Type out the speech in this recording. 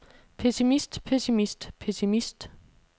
pessimist pessimist pessimist